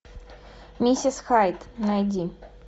миссис хайд найди